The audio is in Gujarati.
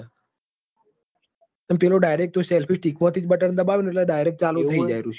પેલું direct તું selfie stick મોથી બટન દબાવી એટલ direct ચાલુ થઇ જાય